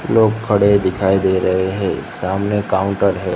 लोग खड़े दिखाई दे रहे हैं सामने काउंटर है।